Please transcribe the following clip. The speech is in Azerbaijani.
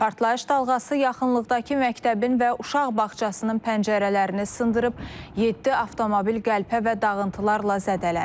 Partlayış dalğası yaxınlıqdakı məktəbin və uşaq bağçasının pəncərələrini sındırıb, yeddi avtomobil qəlpə və dağıntılarla zədələnib.